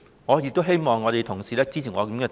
我亦希望同事支持我的建議。